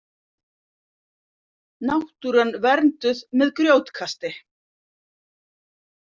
Náttúran vernduð með grjótkasti